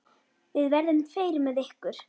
Við verðum tveir með ykkur.